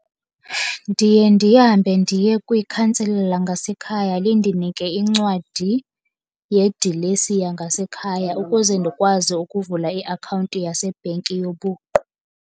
Ndiye ndihambe ndiye kwikhansila langasekhaya lindinike incwadi yedilesi yangasekhaya ukuze ndikwazi ukuvula iakhawunti yasebhenki yobuqu.